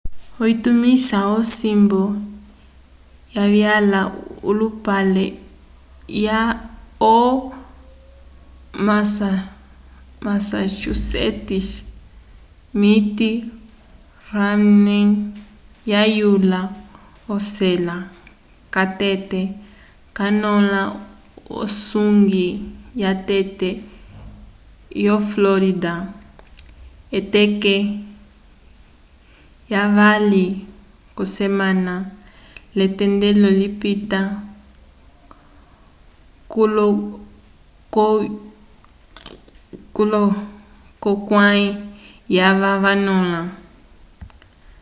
utumisi wosimbu wavyala olupale wo massachusetts mitt romney wayula ocela catete canõla usongwi watete wo florida k'eteke lyavali k'osemana l'etendelo lipita 46 k'olohukãyi yava vanõla